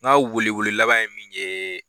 Ɲa wele wele laban ye min yee.